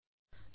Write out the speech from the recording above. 24